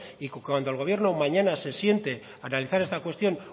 y cuando el gobierno mañana se siente a analizar esta cuestión